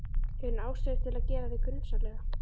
Hefur hún ástæðu til að gera þig grunsamlega?